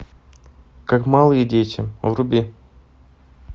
как малые дети вруби